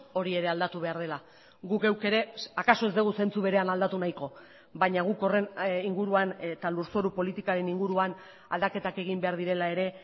hori ere aldatu behar dela guk geuk ere akaso ez dugu zentzu berean aldatu nahiko baina guk horren inguruan eta lurzoru politikaren inguruan aldaketak egin behar direla ere